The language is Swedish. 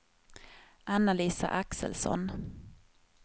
Anna-Lisa Axelsson